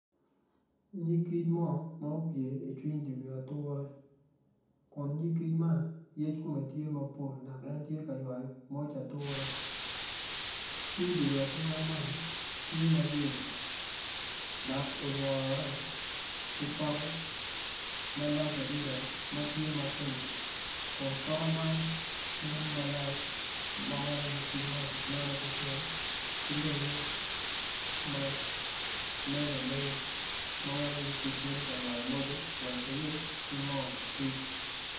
Nyig kic mo ma opye icwiny dye wi ature kun nyig kic man yec kome tye mapol dok en tye ka ywayo moj ature cwiny dye wi ature man tye ma yelo dok olwore ki poke malac adada matye ma pink kun poke man nen malac ma weko nyig kic man neno ki cen ki lenge ma meny amenya ma weko nyig kic bino ka ywayo moje wek eyub ki moo kic